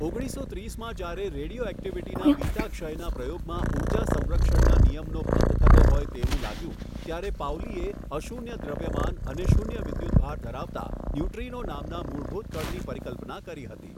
ઓગણીસો ત્રીસમાં જ્યારે રેડિયોઍક્ટિવિટીના બીટા ક્ષયના પ્રયોગમાં ઉર્જા સંરક્ષણના નિયમનો ભંગ થતો હોય તેવું લાગ્યુ ત્યારે પાઉલીએ અશૂન્ય દ્રવ્યમાન અને શૂન્ય વિદ્યુતભાર ધારવતા ન્યુટ્રિનો નામના મૂળભૂત કણની પરિકલ્પના કરી હતી.